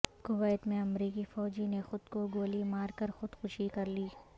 Kuwait میں امریکی فوجی نے خود کو گولی مار کر خود کشی کرلی